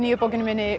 bókinni minni